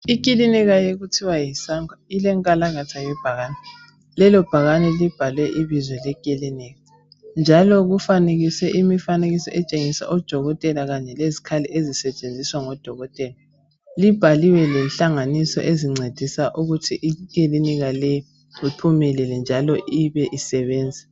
Iklinika okuthiwa yiSangwa elenkalakatha yebhakane lelo bhakane libhalwe ibizo leklinika njalo kufanekiswe umfanekiso otshengisa odokotela kanye lezikhali ezisetshenziswa ngodokotela libhaliwe lezihlanganiso ezincedisa ukuthi iklinika leyi iphumelele njalo futhi ibe isebenza